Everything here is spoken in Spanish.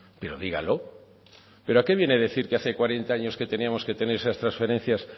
pero dígalo pero a qué viene a decir que hace cuarenta años teníamos que tener esas transferencias